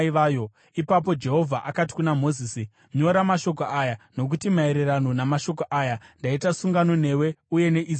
Ipapo Jehovha akati kuna Mozisi, “Nyora mashoko aya, nokuti maererano namashoko aya ndaita sungano newe uye neIsraeri.”